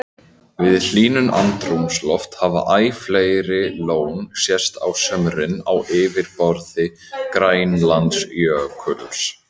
Við hlýnun andrúmslofts hafa æ fleiri lón sést á sumrin á yfirborði Grænlandsjökuls.